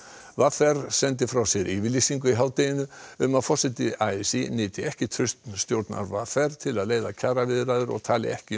v r sendi frá sér yfirlýsingu í hádeginu um að forseti a s í nyti ekki trausts stjórnar v r til að leiða kjaraviðræður og tali ekki í